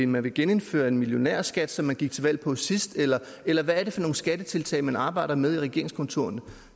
man vil genindføre en millionærskat som man gik til valg på sidst eller eller hvad er det for nogle skattetiltag man arbejder med i regeringskontorerne